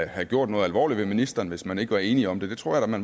have gjort noget alvorligt ved ministeren hvis man ikke var enige om det det tror